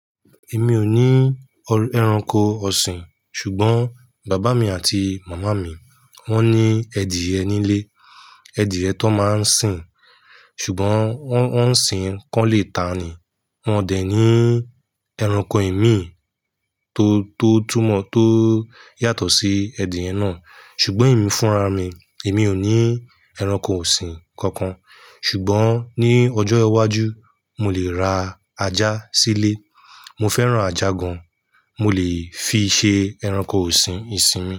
Èmi ò ní ẹranko ọ̀sìn, ṣùgbọ́n bàbá mi àti màmá mi, wọ́n ní ẹdìe ni lé, ẹdìe tan máa ń sìn. Ṣùgbọ́n wọ́n ń sìn kán lé ta ni, wọ́n dẹ̀ ní ẹranko ìmí tó, tó túmọ̀ tó yàtọ̀ sí ẹdì ẹ náà. Ṣùgbọ́n ẹ̀mí fúnra mi, èmi ò ní ẹranko ọ̀sìn kankan. Ṣùgbọ́n ní ọjọ́ iwájú, mo lè ra ajá sílé. Mo fẹ́ràn ajá gan. Mo lè fi ṣe ẹranko ọ̀sìn osinmi.